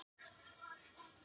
Teljast málin upplýst